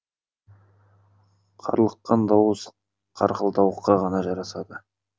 қарлыққан дауыс қарқылдауыққа ғана жарасады